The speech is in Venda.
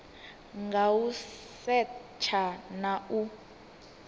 nga u setsha na u